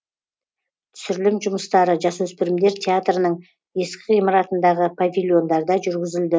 түсірілім жұмыстары жасөспірімдер театрының ескі ғимаратындағы павильондарда жүргізілді